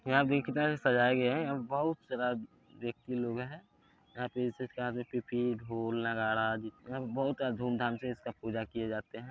यहां पे कितना अच्छा से सजाया गया है यहां पे बहुत सारा व्यक्ति लोग है यहां पे सबके हाथ में पीपी ढोल नगारा यहां पे बहुत धूम धाम से इसका पूजा किए जाते हैं |